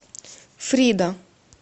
фрида